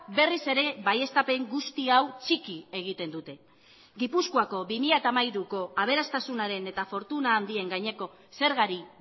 berriz ere baieztapen guzti hau txiki egiten dute gipuzkoako bi mila hamairuko aberastasunaren eta fortuna handien gaineko zergari